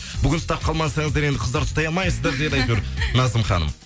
бүгін ұстап қалмасаңыздар енді қыздар ұстай алмайсыздар деді әйтеуір назым ханым